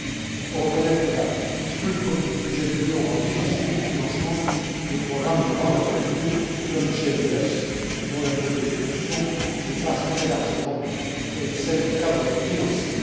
Il faut reconnaitre que la structure du budget de l'Union rend difficile le financement de programmes de grande envergure comme GMES, dont la durée d'exécution dépasse très largement celle du cadre financier.